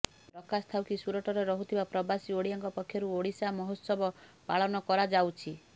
ପ୍ରକାଶଥାଉକି ସୁରଟରେ ରହୁଥିବା ପ୍ରବାସୀ ଓଡିଆଙ୍କ ପକ୍ଷରୁ ଓଡ଼ିଶା ମହୋତ୍ସବ ପାଳନ କରାଯାଉଛି